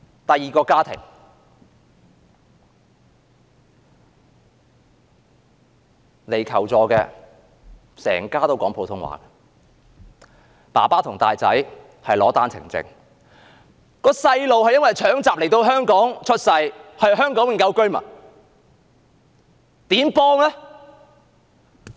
第二個求助家庭：全家都說普通話，父親和大兒子持單程證來港，另一名孩子是搶閘來港出生，屬香港永久居民。